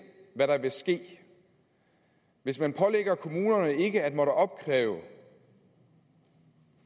hvad der vil ske hvis man pålægger kommunerne ikke at måtte opkræve